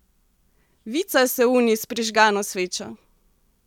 Vica se uni s prižgano svečo!